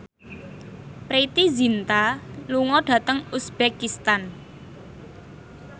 Preity Zinta lunga dhateng uzbekistan